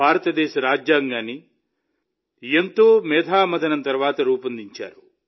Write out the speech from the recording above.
భారతదేశ రాజ్యాంగాన్ని చాలా తీవ్రమైన మేధామథనం తర్వాత రూపొందించారు